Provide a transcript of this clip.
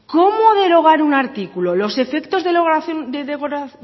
cómo derogar un artículo los efectos de